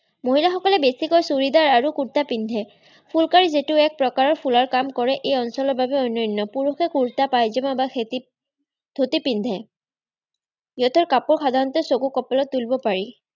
মহিলাসকলে বেছিকৈ ছুৰিদাৰ আৰু কুৰ্টা পিন্ধে। ফুৰ্কাৰি যিটোৱে এক ফুলৰ কাম কৰে এই অঞ্চলৰ বাবে অন্যন্য। পুৰুষসকলে কুৰ্টা পাইজামা বা খেতিত ধুতি পিন্ধে। সিহঁতৰ কাপোৰ সাধাৰণতে চকু কপালত তুলিব পাৰি।